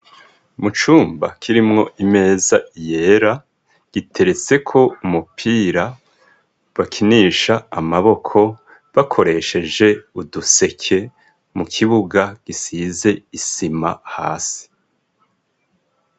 Mu cumba kirimwo imeza yera iteretsekwo umupira bakinisha amaboko bakoresheje uduseke mu kibuga gisize isima hasi.